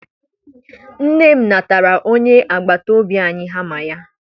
Nne m natara onye agbataobi anyị hama ya.